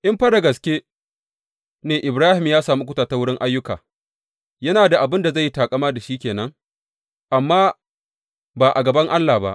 In fa da gaske ne Ibrahim ya sami kuɓuta ta wurin ayyuka, yana da abin da zai yin taƙama da shi ke nan, amma ba a gaban Allah ba.